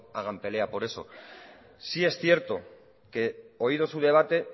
hagan pelea por eso sí es cierto que oído su debate